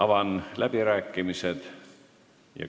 Avan läbirääkimised.